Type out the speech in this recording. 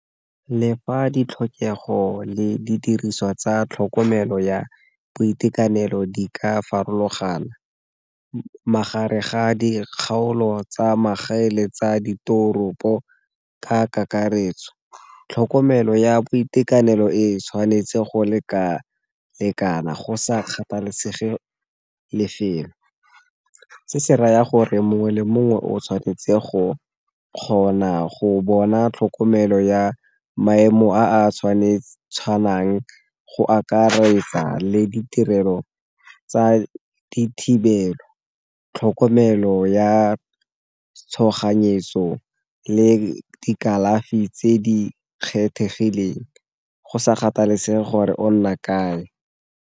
Le fa ditlhokego le di diriswa tsa tlhokomelo ya boitekanelo di ka farologana, magareng ga dikgaolo tsa magaeng le tsa ditoropo ka kakaretso, tlhokomelo ya boitekanelo e tshwanetse go lekalekana go sa kgathalesege lefelo. Se se raya gore mongwe le mongwe o tshwanetse go kgona go bona tlhokomelo ya maemo a tshwanang, go akaretsa le ditirelo tsa dithibelo, tlhokomelo ya tshoganyetso, le dikalafi tse di kgethegileng go sa kgathalesege gore o nna kae.